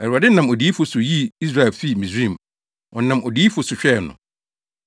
Awurade nam odiyifo so yii Israel fii Misraim, ɔnam odiyifo so hwɛɛ no.